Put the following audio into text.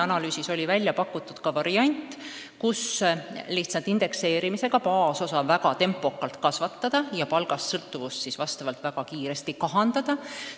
Analüüsis pakuti välja ka variant, et lihtsalt indekseerimisega baasosa väga tempokalt kasvatada ja palgast sõltuvust vastavalt siis väga kiiresti kahandada.